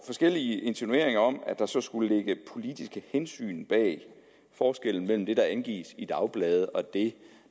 forskellige insinuationer om at der så skulle ligge politiske hensyn bag forskellen mellem det der angives i dagblade og det